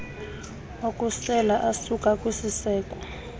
okusela asuka kwisiseko